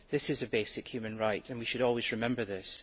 This is a basic human right, and we should always remember this.